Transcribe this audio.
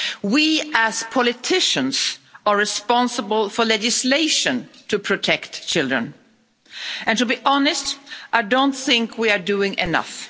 We as politicians are responsible for legislation to protect children, and, to be honest, I don't think we are doing enough.